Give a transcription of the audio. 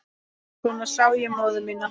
Svona sá ég móður mína.